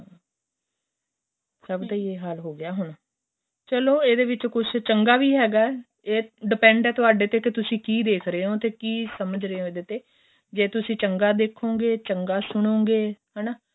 ਸਭ ਦਾ ਏ ਹਾਲ ਹੋ ਗਿਆ ਹੁਣ ਚਲੋਂ ਇਹਦੇ ਵਿੱਚ ਕੁੱਛ ਚੰਗਾ ਵੀ ਹੈਗਾ ਏ depend ਏ ਤੁਹਾਡੇ ਤੇ ਕੇ ਤੁਸੀਂ ਕਿ ਦੇਖ ਰਹੇ ਹੋ ਤੇ ਤੁਸੀਂ ਕਿ ਸਮਝ ਰਹੇ ਹੋ ਇਹਦੇ ਤੇ ਜ਼ੇ ਤੁਸੀਂ ਚੰਗਾ ਦੇਖੋਗੇ ਚੰਗਾ ਸੁਣੋਗੇ ਹੈਨਾ